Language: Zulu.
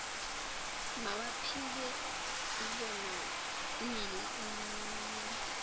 bawaphike kwenanele nabammeli